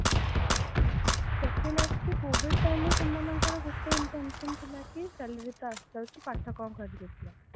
second ଆସୁଛି covid timeରେ ସେମାନଙ୍କର ଗୋଟେ intention ଥିଲା କି salary ତ ଆସିଯାଉଛି ପାଠ କଣ କରିବେ ପିଲା